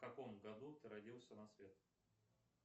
в каком году ты родился на свет